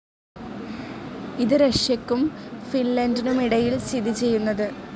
ഇത് റഷ്യക്കും ഫിൻലൻഡിനുമിടയിൽ സ്ഥിതിചെയ്യുന്നത്